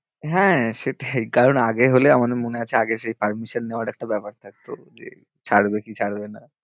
হ্যাঁ, সেটাই কারন আগে হলে আমারো মনে আছে আগে সেই permission নেওয়ার একটা ব্যাপার থাকতো, যে ছাড়বে কি ছাড়বে